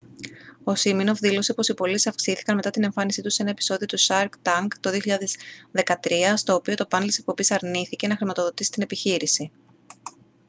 ο σίμινοφ δήλωσε πως οι πωλήσεις αυξήθηκαν μετά την εμφάνισή του σε ένα επεισόδιο του shark tank το 2013 στο οποίο το πάνελ της εκπομπής αρνήθηκε να χρηματοδοτήσει την επιχείρηση